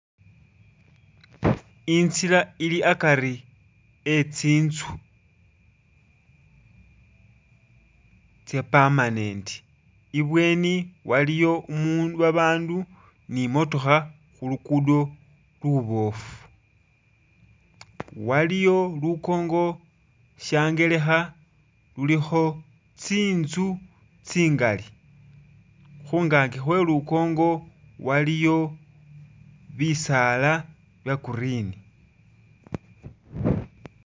I'ntsila ili akari e'tsi'nzu tsya permanent, ibweni waliyo umu babandu ni motookha khulugudo luboofu, waliyo lukongo sha'ngelekha lulikho tsi'nzu tsingali khungaki khwe lukongo waliyo bisaala bya green